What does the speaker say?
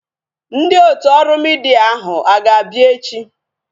Ndị otu ọrụ midia ahu a ga-abịa echi?